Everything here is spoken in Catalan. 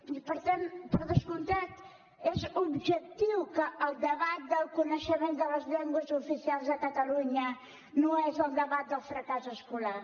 i per tant per descomptat és objectiu que el debat del coneixement de les llengües oficials de catalunya no és el debat del fracàs escolar